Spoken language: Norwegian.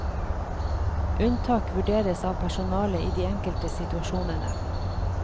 Unntak vurderes av personalet i de enkelte situasjonene.